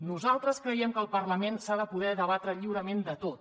nosaltres creiem que al parlament s’ha de poder debatre lliurement de tot